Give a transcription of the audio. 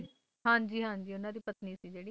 ਹਾਂ ਜੀ ਹਾਂ ਜੀ ਉਨ੍ਹਾਂ ਦੀ ਪਤਨੀ ਸੀ ਜਿਹੜੀ